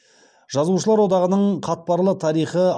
жазушылар одағының қатпарлы тарихы